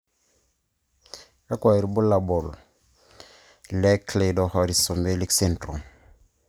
kakwa ibulabul i Cleidorhizomelic syndrome.